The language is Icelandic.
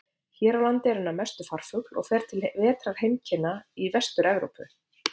Hér á landi er hann að mestu leyti farfugl og fer til vetrarheimkynna í Vestur-Evrópu.